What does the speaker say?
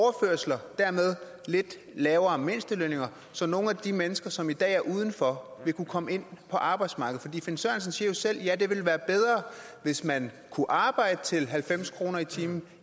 dermed lidt lavere mindstelønninger så nogle af de mennesker som i dag er uden for vil kunne komme ind på arbejdsmarkedet finn sørensen siger jo selv at det ville være bedre hvis man kunne arbejde til halvfems kroner i timen